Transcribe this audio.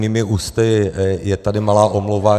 Mými ústy je tady malá omluva.